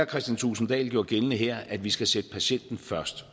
kristian thulesen dahl gjorde gældende her at vi skal sætte patienten først